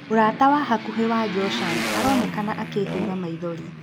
Mũrata wa hakuhĩ wa Joshan aronekana akĩĩhura maithori.